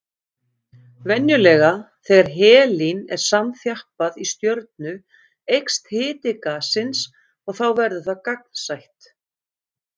Venjulega þegar helín er samþjappað í stjörnu eykst hiti gassins og þá verður það gagnsætt.